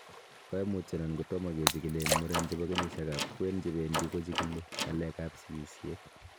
Koimutionion kotam kechikili en muren chebo kenyisiekab kwen chebendi kochikili ng'alekab sikisiet.